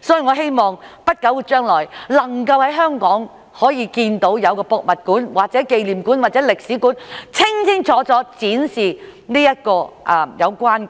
所以，我希望在不久將來能夠在香港看到有博物館或紀念館，或者歷史館清清楚楚展示有關